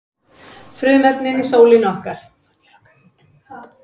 frumefnin í sólinni okkar